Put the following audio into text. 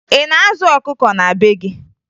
Ị na-azụ ọkụkọ na be gị?